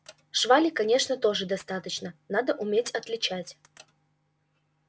швали конечно тоже достаточно надо уметь отличать